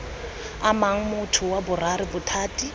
amang motho wa boraro bothati